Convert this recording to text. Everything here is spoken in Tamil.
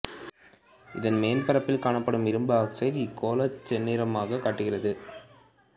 இதன் மேற்பரப்பில் காணப்படும் இரும்பு ஆக்சைடு இக்கோளைச் செந்நிறமாகக் காட்டுகிறது